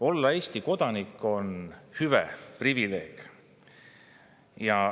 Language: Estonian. Olla Eesti kodanik on hüve, privileeg.